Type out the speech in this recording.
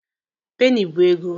Penny bụ ego.